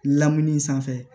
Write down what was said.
Lamunin sanfɛ